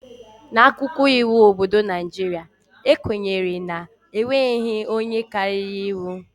N'akwụkwọ iwu obodo Naijiria, e kwenyere na e nweghị onye karịrị iwu